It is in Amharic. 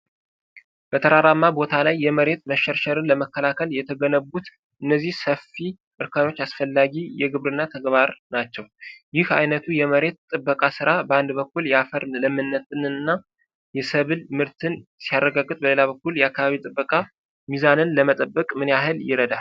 በተራራማ ቦታ ላይ የመሬት መሸርሸርን ለመከላከል የተገነቡት እነዚህ ሰፊ እርከኖች አስፈላጊ የግብርና ተግባር ናቸው። ይህ ዓይነቱ የመሬት ጥበቃ ሥራ በአንድ በኩል የአፈር ለምነትንና የሰብል ምርትን ሲያረጋግጥ በሌላ በኩል የአካባቢ ጥበቃ ሚዛንን ለመጠበቅ ምን ያህል ይረዳል?